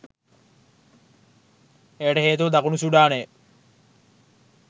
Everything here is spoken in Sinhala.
එයට හේතුව දකුණු සුඩානය